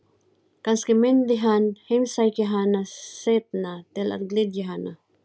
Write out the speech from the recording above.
Kannski myndi hann heimsækja hana seinna til að gleðja hana.